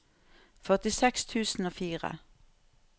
førtiseks tusen og fire